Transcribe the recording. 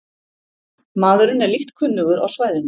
Maðurinn er lítt kunnugur á svæðinu